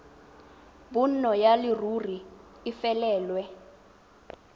bonno ya leruri e felelwe